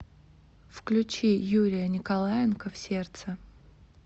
включи юрия николаенко в сердце